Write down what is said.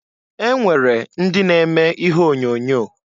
E nwere ndị na-eme ihe onyoonyo.